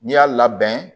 N'i y'a labɛn